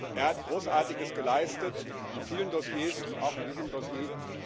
Er hat Großartiges geleistet in vielen Dossiers und auch in diesem Dossier.